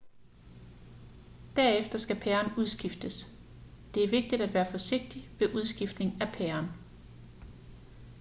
derefter skal pæren udskiftes det er vigtigt at være forsigtig ved udskiftning af pæren